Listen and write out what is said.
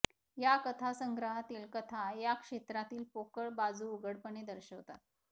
या कथासंग्रहातील कथा या क्षेत्रातील पोकळ बाजू उघडपणे दर्शवतात